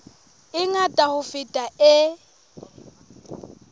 e ngata ho feta e